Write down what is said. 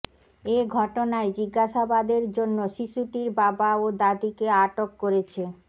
এ ঘটনায় জিজ্ঞাসাবাদের জন্য শিশুটির বাবা ও দাদিকে আটক করেছে